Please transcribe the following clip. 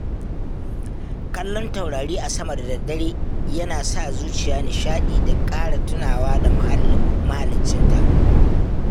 Kallon taurari a sama da daddare yana sa zuciya nishaɗi da ƙara tunawa da mahaliccinta